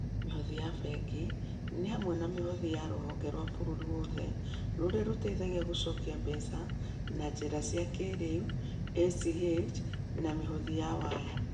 Mĩhothi ya bengi nĩ hamwe na mĩhothi ya rũhonge rwa bũrũri wothe rũrĩa rũteithagia gũcokia mbeca na njĩra cia kĩĩrĩu ACH) na mĩhothi ya waya.